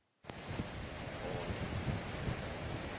ngokora